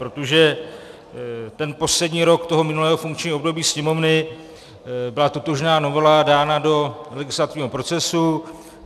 Protože ten poslední rok toho minulého funkčního období Sněmovny byla totožná novela dána do legislativního procesu.